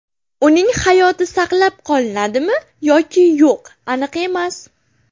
Uning hayoti saqlab qolinadimi yoki yo‘q aniq emas.